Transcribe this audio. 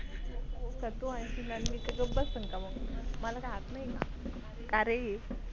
अरे तू हाणशीन आणि मी काय गप्प काय मग. मला काय हात नाही का.